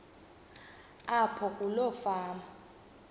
apho kuloo fama